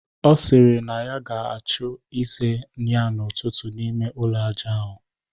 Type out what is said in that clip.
Ọ sịrị na ya ga-achụ ize ya n'ụtụtụ n'ime ụlọ aja ụrọ ya